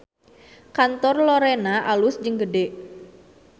Kantor Lorena alus jeung gede